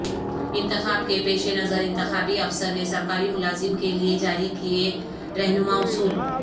انتخاب کے پیش نظر انتخابی افسر نے سرکاری ملازم کیلئے جاری کئے رہنما اصول